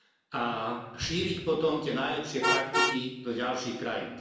a šíriť potom tie najlepšie praktiky do ďalších krajín.